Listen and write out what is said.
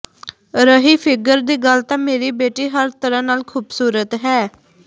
ਰਹੀ ਫਿੱਗਰ ਦੀ ਗੱਲ ਤਾਂ ਮੇਰੀ ਬੇਟੀ ਹਰ ਤਰ੍ਹਾਂ ਨਾਲ ਖ਼ੂਬਸੂਰਤ ਹੈ